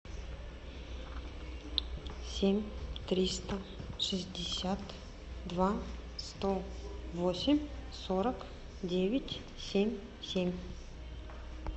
семь триста шестьдесят два сто восемь сорок девять семь семь